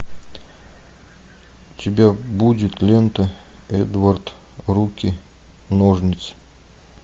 у тебя будет лента эдвард руки ножницы